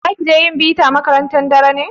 Za ki je yin bita a makaranta da daddare?